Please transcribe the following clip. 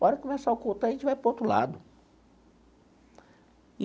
Hora que começar o culto, aí a gente vai para outro lado.